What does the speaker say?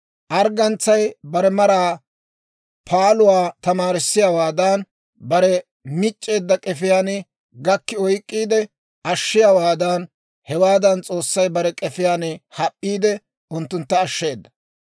Arggantsay bare maraa paaluwaa tamaarissiyaawaadan, bare mic'c'eedda k'efiyaan gakki oyk'k'iide ashshiyaawaadan, hewaadan S'oossay bare k'efiyaan hap'p'iide unttuntta ashsheeda.